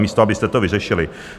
Místo abyste to vyřešili.